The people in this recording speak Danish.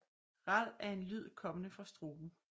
Ral er en lyd kommende fra struben